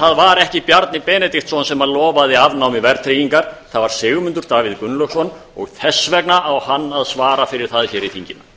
það var ekki bjarni benediktsson sem lofaði afnámi verðtryggingar það var sigmundur davíð gunnlaugsson og þess vegna á hann að svara fyrir það hér í þinginu